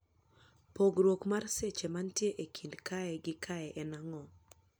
pogruok mar seche mantie e kind kae gi kae en ang'o